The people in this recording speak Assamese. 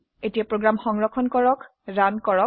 এতিয়া প্ৰোগ্ৰাম সংৰক্ষণ কৰে ৰান কৰক